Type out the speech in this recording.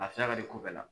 A siya ka di ko bɛɛ la